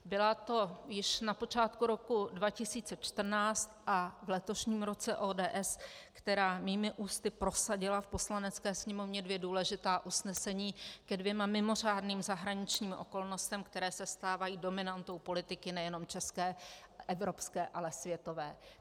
Byla to již na počátku roku 2014 a v letošním roce ODS, která mými ústy prosadila v Poslanecké sněmovně dvě důležitá usnesení ke dvěma mimořádným zahraničním okolnostem, které se stávají dominantou politiky nejenom české, evropské, ale světové.